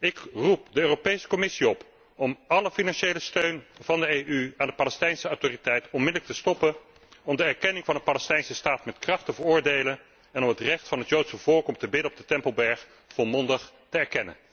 Ik roep de Europese Commissie op om alle financiële steun van de EU aan de Palestijnse Autoriteit onmiddellijk te stoppen, om erkenning van een Palestijnse Staat met kracht te veroordelen en om het recht van het Joodse volk om te bidden op de Tempelberg volmondig te erkennen.